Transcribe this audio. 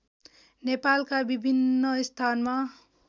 नेपालका विभिन्न स्थानमा